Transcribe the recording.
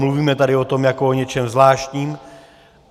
Mluvíme tady o tom jako o něčem zvláštním.